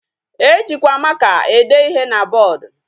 E jikwa maka ede ihe na board.